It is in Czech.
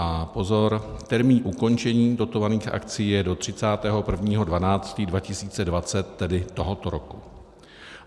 A pozor, termín ukončení dotovaných akcí je do 31. 12. 2020, tedy tohoto roku.